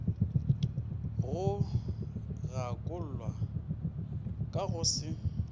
go gakollwa ka go se